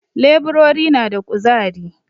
Leburori na da ƙuzari